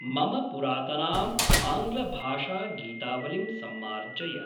मम पुरातनीम् आङ्ग्लभाषागीतावलिं सम्मार्जय।